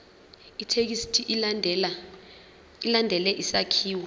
ithekisthi ilandele isakhiwo